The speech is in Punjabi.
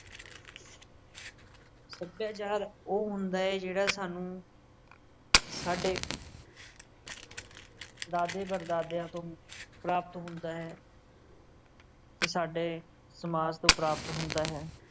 ਸੱਭਿਆਚਾਰ ਉਹ ਹੁੰਦਾ ਹੈ। ਜਿਹੜਾ ਸਾਨੂੰ ਸਾਡੇ ਦਾਦੇ -ਪੜ੍ਹਦਾਦਿਆਂ ਤੋਂ ਪ੍ਰਾਪਤ ਹੁੰਦਾ ਹੈ। ਵੀ ਸਾਡੇ ਸਮਾਜ ਤੋਂ ਪ੍ਰਾਪਤ ਹੁੰਦਾ ਹੈ।